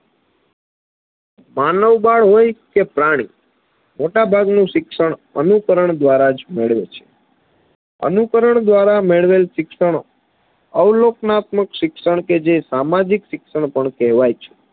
માનવબાળ હોય કે પ્રાણી મોટાભાગનું શિક્ષણ અનુકરણ દ્વારા જ મેળવે છે અનુકરણ દ્વારા મેળવેલ શિક્ષણ અવલોકનાત્મક શિક્ષણ કે જે સામાજિક શિક્ષણ પણ કહેવાય છે